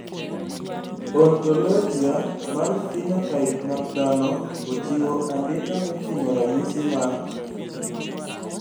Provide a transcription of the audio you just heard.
Ontologia mar phenotype mag dhano ochiwo andika moting`o ranyisi mag